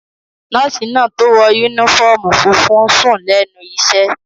Nọ́ọ̀sì náà tó wọ yúnífọ́ọ̀mù funfun n sùn lẹ́nu iṣẹ́